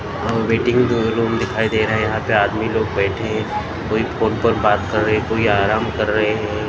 और वेटिंग जो रूम दिखाई दे रहा है यहां पे आदमी लोग बैठे है कोई फोन पर बात कर रहे कोई आराम कर रहे हैं।